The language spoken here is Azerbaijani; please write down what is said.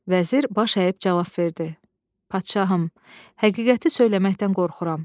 Vəzir baş əyib cavab verdi: "Padşahım, həqiqəti söyləməkdən qorxuram.